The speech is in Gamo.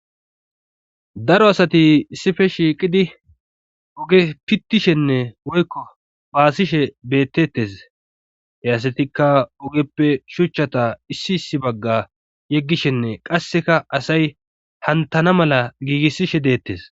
daro asati issife shiiqidi oge pittishenne woykko baasishe bettettes heyasatikka ogeppe shuchchata issi issi bagga yeggishenne qasseka asay hantana mala giigissishe dettes